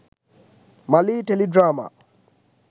malee teledrama